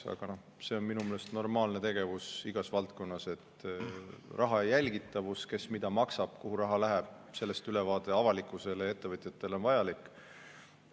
Aga see on minu meelest normaalne tegevus igas valdkonnas – raha jälgitavus ja ülevaade sellest, kes mida maksab, kuhu raha läheb, on avalikkusele ja ettevõtjatele vajalik.